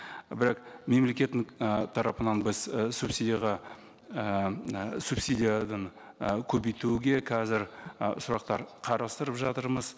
бірақ мемлекеттің ы тарапынан біз і субсидияға і м і субсидиядан і көбейтуге қазір ы сұрақтар қарастырып жатырмыз